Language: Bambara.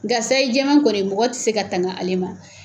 Nga sayi jɛman kɔni mɔgɔ te se ka tanga ale ma.